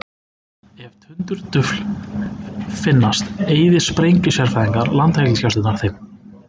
Ef tundurdufl finnast eyða sprengjusérfræðingar Landhelgisgæslunnar þeim.